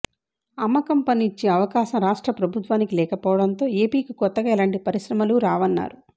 అమ్మకం పన్ను ఇచ్చే అవకాశం రాష్ట్ర ప్రభుత్వానికి లేకపోవటంతో ఏపీకి కొత్తగా ఎలాంటి పరిశ్రమలు రావన్నారు